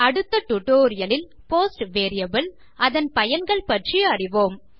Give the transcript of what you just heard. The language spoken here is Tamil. அடுத்த டியூட்டோரியல் இல் போஸ்ட் வேரியபிள் அதன் பயன்கள் பற்றி அறிவோம்